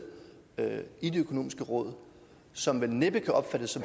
i det økonomiske råd som vel næppe kan opfattes